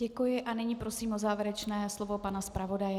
Děkuji a nyní prosím o závěrečné slovo pana zpravodaje.